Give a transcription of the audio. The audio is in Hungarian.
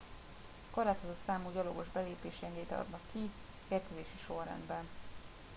korlátozott számú gyalogos belépési engedélyt adnak ki érkezési sorrendben